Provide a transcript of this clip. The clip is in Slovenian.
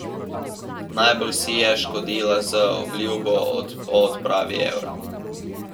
Najbolj si je škodila z obljubo o odpravi evra.